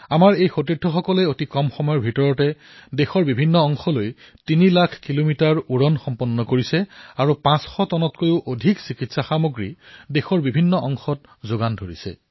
আমাৰ এই সতীৰ্থসকলে ইমান কম সময়ত দেশৰ ভিতৰতেই তিনি লাখ কিলোমিটাৰ পথ অতিক্ৰম কৰিছে আৰু ৫০০ টনতকৈও অধিক চিকিৎসা সামগ্ৰী দেশৰ প্ৰতিটো প্ৰান্তত যোগান ধৰিছে